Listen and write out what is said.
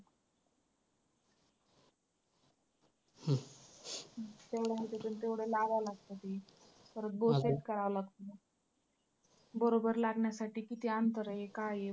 तेवढ्या ह्याच्यातून तेवढं लावायला लागतं ते परत bow set करावं लागतं. बरोबर लागण्यासाठी किती अंतर आहे, काय आहे.